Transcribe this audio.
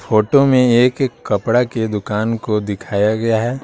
Photo में एक कपड़ा के दुकान को दिखाया गया है।